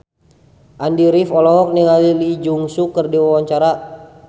Andy rif olohok ningali Lee Jeong Suk keur diwawancara